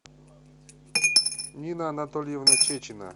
нина анатольевна чечина